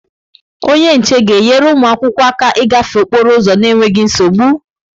Onye nche ga-enyere ụmụ akwụkwọ aka ịgafe okporo ụzọ n'enweghị nsogbu?